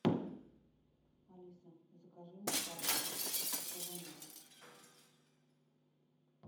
алиса закажи мне пасту карбонара